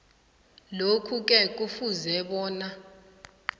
lokhuke kufuze bona